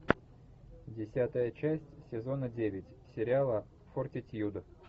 десятая часть сезона девять сериала фортитьюд